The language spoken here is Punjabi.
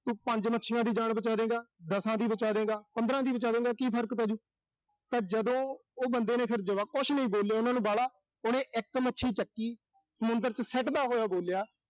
ਪੰਜ ਮੱਛੀਆਂ ਦੀ ਜਾਨ ਬਚਾ ਦੇਂਗਾ, ਦਸ ਦੀ ਬਚਾ ਦੇਂਗਾ, ਪੰਦ੍ਹਰਾਂ ਦੀ ਬਚਾ ਦੇਂਗਾ। ਕੀ ਫਰਕ ਪੈਜੂ ਤਾਂ ਜਦੋਂ ਉਹ ਬੰਦੇ ਨੇ ਜੁਆਬ ਕੁਸ਼ ਨੀਂ ਬੋਲਿਆ ਉਨ੍ਹਾਂ ਨੂੰ ਬਾਹਲਾ। ਉਹਨੇ ਇੱਕ ਮੱਛੀ ਚੁੱਕੀ, ਸਮੁੰਦਰ ਚ ਸਿੱਟਦਾ ਹੋਇਆ ਬੋਲਿਆ।